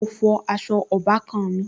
Mo fọ aṣọ ọbàkan-àn mi